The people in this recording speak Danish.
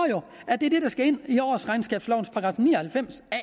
jo og det er det der skal ind i årsregnskabslovens § ni og halvfems a